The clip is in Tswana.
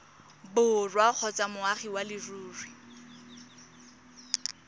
borwa kgotsa moagi wa leruri